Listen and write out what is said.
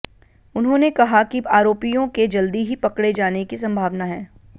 उन्होंने कहा कि आरोपियों के जल्दी ही पकड़े जाने की संभावना है